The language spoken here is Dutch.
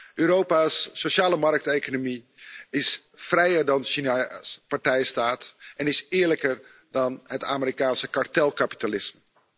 De sociale markteconomie van Europa is vrijer dan China's partijstaat en is eerlijker dan het Amerikaanse kartelkapitalisme.